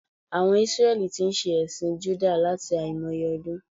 Àwon Isreli tí n se èsìn Júdà láti àìmoye odún